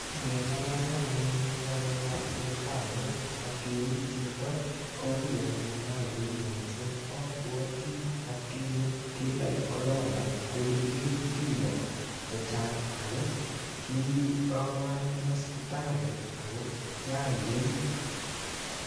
Ngengalale anyun ng'alek ap sindanot ak kerut chito ko kiy anyun ne aywei mising abuoti atkinye kindait korona ko kikirut biko che chang ako ki awe anyun hosipitali ako kiaiwei.